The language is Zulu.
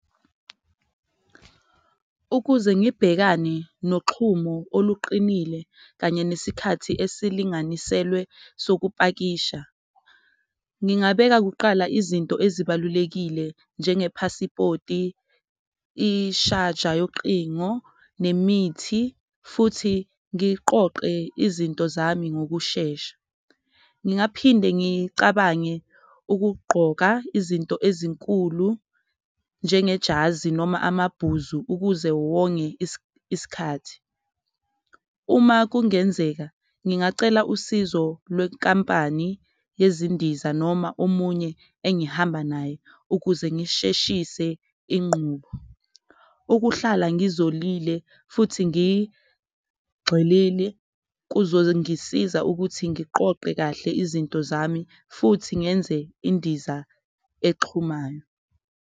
Ukuze ngibhekane noxhumo oluqinile kanye nesikhathi esilinganiselwe sokupakisha, ngingabeka kuqala izinto ezibalulekile njengephasipoti, ishaja yoqingo, nemithi futhi ngiqoqe izinto zami ngokushesha. Ngingaphinde ngicabange ukugqoka izinto ezinkulu, njengejazi noma amabhuzu ukuze wonge iskhathi. Uma kungenzeka ngingacela usizo lwenkampani yezindiza noma omunye engihamba naye ukuze ngisheshise inqubo. Ukuhlala ngizolibele futhi ngigxilile kuzongisiza ukuthi ngiqoqe kahle izinto zami futhi ngenze indiza exhumana.